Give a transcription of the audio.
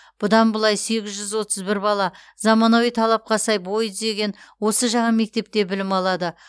бұдан былай сегіз жүз отыз бір бала заманауи талапқа сай бой түзеген осы жаңа мектепте білім алады